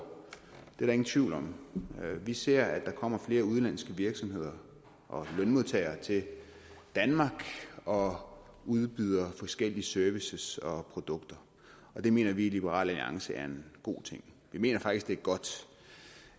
det er der ingen tvivl om vi ser at der kommer flere udenlandske virksomheder og lønmodtagere til danmark og udbyder forskellige services og produkter og det mener vi i liberal alliance er en god ting vi mener faktisk det er godt